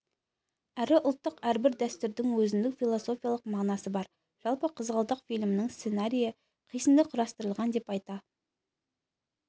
әрі ұлттық әрбір дәстүрдің өзіндік философиялық мағынасы бар жалпы қызғалдақ фильмінің сценарийі қисынды құрастырылған деп айта